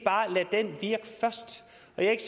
er ikke